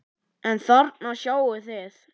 En þarna sjáið þið!